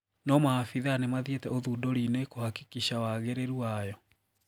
No maabitha nimathiete ũthunduri-ini kũhakikisha wagiriru wayo.